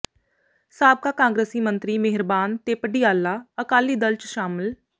ਸਾਬਕਾ ਕਾਂਗਰਸੀ ਮੰਤਰੀ ਮੇਹਰਬਾਨ ਤੇ ਪਡਿਆਲਾ ਅਕਾਲੀ ਦਲ ਚ ਸ਼ਾਮਿਲ